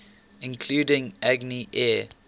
including agni air